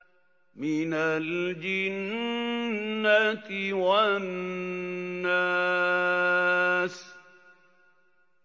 مِنَ الْجِنَّةِ وَالنَّاسِ